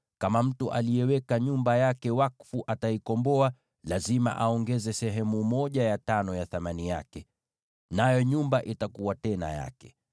Kama mtu aliyeweka nyumba yake wakfu ataikomboa, lazima aongeze sehemu ya tano ya thamani yake, nayo nyumba itakuwa yake tena.